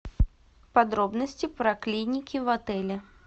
подробности про клиники в отеле